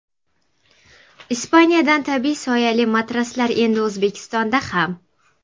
Ispaniyadan tabiiy soyali matraslar endi O‘zbekistonda ham!.